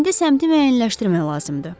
İndi səmtimə yeniləşdirmək lazımdır.